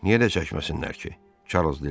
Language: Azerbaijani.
Niyə də çəkməsinlər ki, Çarlz dilləndi.